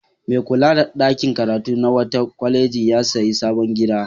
Mai kula da ɗakin karatu na wata kwaleji ya sayi sabon gida.